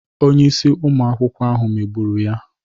Onye isi ụmụ akwụkwọ ahụ megburu ya.